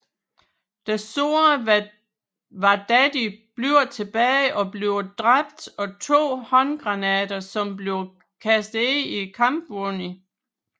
Den sårede Wardaddy bliver tilbage og bliver dræbt af to håndgranater som bliver kastet ind i kampvognen